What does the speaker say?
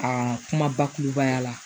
A kuma bakurubaya la